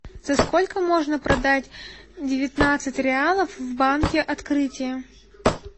за сколько можно продать девятнадцать реалов в банке открытие